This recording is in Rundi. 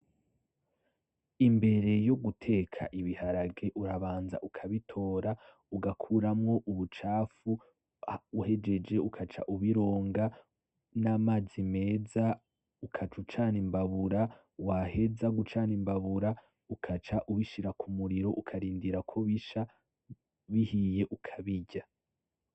Imbere yoguteka ibiharage urabanza ukabitora ugakuramwo ubucafu uhejeje ugaca ubironga n'amazi meza ugaca ucana imbabura waheza gucana imbabura ugaca ubishira kumuriro ukarindira kobisha bihiye ukabirya.